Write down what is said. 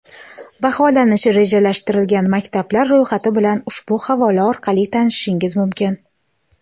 Baholanishi rejalashtirilgan maktablar ro‘yxati bilan ushbu havola orqali tanishishingiz mumkin.